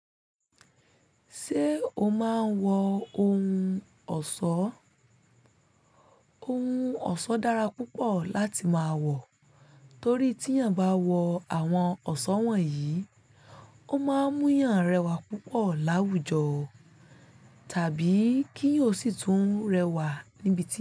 Ṣé o máa ń wọ ohun ọ̀ṣọ́? Ohun ọ̀ṣọ́ dára púpọ̀ láti máa wọ torí tí èèyàn bá wọ àwọn ọ̀ṣọ́ wọ̀nyí, ó máa ń mú èèyàn rẹwà púpọ̀ láwùjọ tàbí kí eeyan sì tún rẹwà níbi tí.